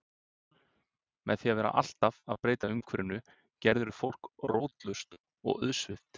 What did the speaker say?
Með því að vera alltaf að breyta umhverfinu gerirðu fólk rótlaust og auðsveipt.